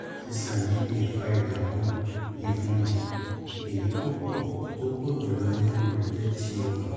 àìsàn yìí lè fa ìdààmú ìfunrin èyí tó pọ̀ tó pọ̀ jù lọ nínú rẹ̀ jẹ́ ti ọ̀kan